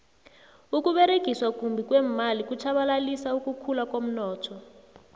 ukuberegiswa kumbi kweemali kutjhabalalisa ukukhula komnotho